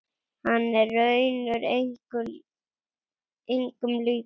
Hann er raunar engum líkur.